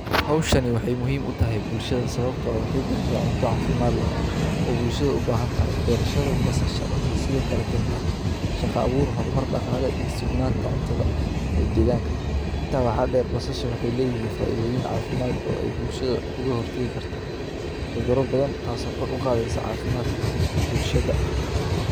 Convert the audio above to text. Hawshan waxay muhiim u tahay bulshada, sababtoo ah waxay baxsanaa cunto caafimaad leh oo bulshadu u baahan tahay. Beerashada basasha waxay sidoo kale keenta shaqo abuur, hormar dhaqaale iyo sugnaanta cuntada ee deegaanka. Intaa waxa dheer, basasha waxay leeyihiin faaiidooyin caafimaad oo ay bulshada uga hurtayi karto. cudura badan taasoo kor u qaadeysa caafimaadka gud ee bulshada.